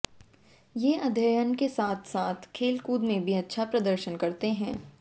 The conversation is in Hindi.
ये अध्ययन के साथ साथ खेलकूद में भी अच्छा प्रदर्शन करते हैं